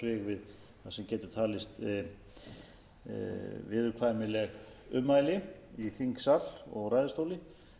við það sem geta talist viðurkvæmileg ummæli í þingsal og ræðustóli þannig